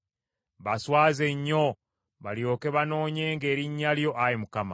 Baswaze nnyo, balyoke banoonyenga erinnya lyo, Ayi Mukama .